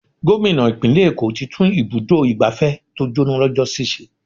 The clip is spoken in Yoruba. Gómìnà ìpínlè èkó tí tún ibùdó igbàfẹ́ tó jóná lọ́jọ́ sì ṣe.